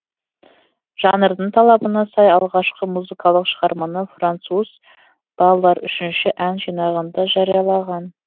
жанрдың талабына сай алғашқы музыкалық шығарманы француз баллар үшінші ән жинағында жариялаған